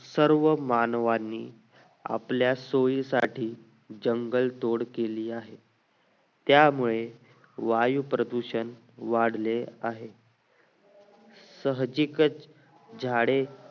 सर्व मानवांनी आपल्या सोयी साठी jungle तोड केली आहे त्या मुळे वायू प्रदूषण वाढले आहे साहजिकच झाडे